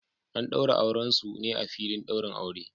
An daura auren su ne a filin daurin aure